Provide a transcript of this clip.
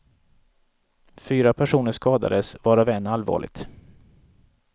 Fyra personer skadades, varav en allvarligt.